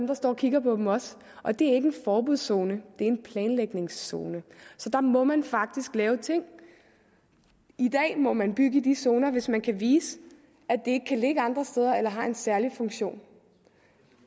der står og kigger på dem også og det er ikke en forbudszone det en planlægningszone så der må man faktisk lave ting i dag må man bygge i de zoner hvis man kan vise at det ikke kan ligge andre steder eller har en særlig funktion